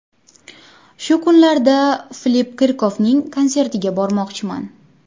Shu kunlarda Filipp Kirkorov konsertiga bormoqchiman.